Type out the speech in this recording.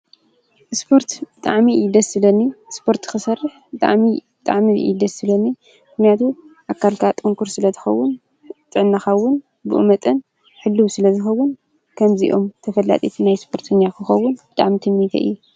ስፓርት ጥዕናኻ ስለ ዝሕሎ ምስራሕ ፅቡቅ እዩ ኢሉ ውን ተፈላጢ ክትከውን ይሕግዝ